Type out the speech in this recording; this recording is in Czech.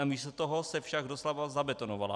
Namísto toho se však doslova zabetonovala.